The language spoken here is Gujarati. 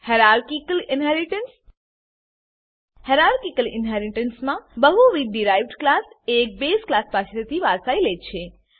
હાયરાકીકલ ઇનહેરીટન્સ હાયરાકીકલ ઇનહેરીટન્સમાં બહુવિધ ડીરાઇવ્ડ ક્લાસ એક બેઝ ક્લાસ પાસેથી વારસાઈ લે છે